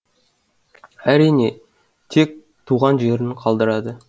әрине тек туған жерін қалдырады